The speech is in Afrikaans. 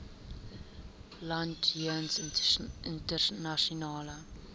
land jeens internasionale